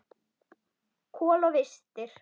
Kol og vistir.